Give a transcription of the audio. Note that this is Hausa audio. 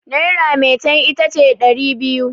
naira metan ita ce dari biyu